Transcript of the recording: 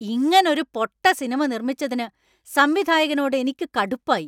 ഇങ്ങനൊരു പൊട്ട സിനിമ നിർമ്മിച്ചതിന് സംവിധായകനോട് എനിക്ക് കടുപ്പായി.